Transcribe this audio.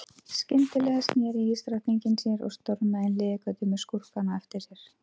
Við segjum þá einfaldlega að krafturinn sé jafn massa sinnum hröðun.